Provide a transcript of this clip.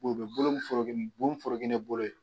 U be bolo min forokini bu bi foroki ni bolo ye